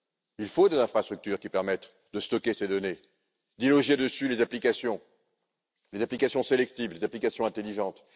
Il faut des infrastructures qui permettent de stocker ces données, de loger les applications des applications sélectives, des applications intelligentes.